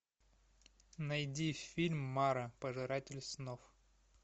найди фильм мара пожиратель снов